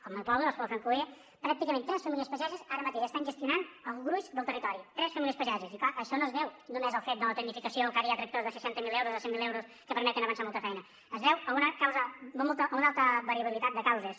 al meu poble l’espluga del francolí pràcticament tres famílies pageses ara mateix estan gestionant el gruix del territori tres famílies pageses i clar això no es veu només en el fet de la tecnificació o que ara hi ha tractors de seixanta mil euros de cent mil euros que permeten avançar molta feina es deu a una alta variabilitat de causes